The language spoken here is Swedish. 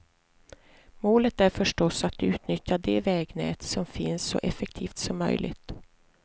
Målet är förstås att utnyttja det vägnät som finns så effektivt som möjligt.